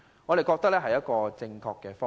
我們認為這是正確的方向。